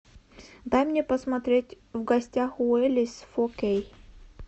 дай мне посмотреть в гостях у элис фо кей